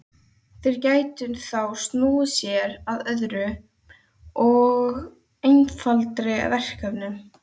Þeir gætu þá snúið sér að öðrum og einfaldari verkefnum.